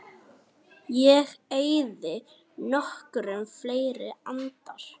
Ég eyði nokkrum fleiri andar